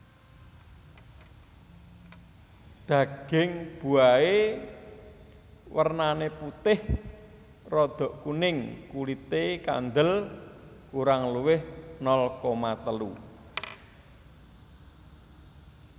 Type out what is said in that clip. Daging buahé wèrnané putih rada kuning kulité kandel kurang luwih nol koma telu